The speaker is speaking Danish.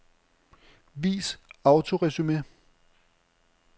Vis autoresumé.